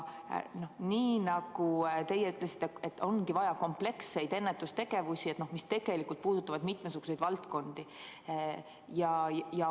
Nii nagu teie ütlesite, et ongi vaja kompleksseid ennetustegevusi, mis puudutavad mitmesuguseid valdkondi.